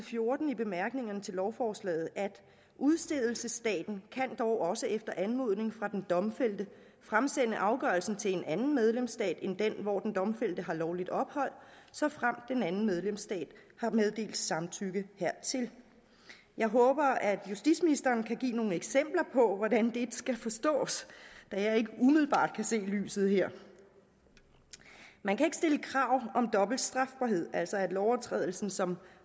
fjorten i bemærkningerne til lovforslaget udstedelsesstaten kan dog også efter anmodning fra den domfældte fremsende afgørelsen til en anden medlemsstat end den hvor den domfældte har lovligt ophold såfremt denne anden medlemsstat har meddelt samtykke hertil jeg håber at justitsministeren kan give nogle eksempler på hvordan det skal forstås da jeg ikke umiddelbart kan se lyset her man kan ikke stille krav om dobbelt strafbarhed altså at lovovertrædelsen som